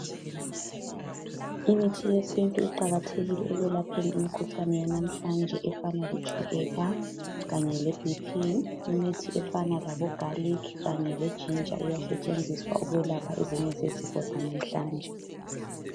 Imithi yesintu iqakathekile ekwelapheni imikhuhlane yanamhlanje efana letshukela kanye lebhiphi, imithi efana labo garlic kanye le ginger iyasetshenziswa ukwelapha ezinye zezifo zalamhlanje.